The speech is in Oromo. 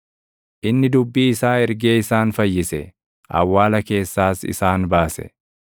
Inni dubbii isaa ergee isaan fayyise; awwaala keessaas isaan baase.